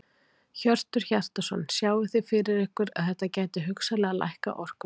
Hjörtur Hjartarson: Sjáið þið fyrir ykkur að þetta gæti hugsanlega lækkað orkuverð?